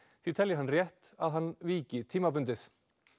því telji hann rétt að hann víki tímabundið